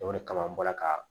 O de kama an bɔra ka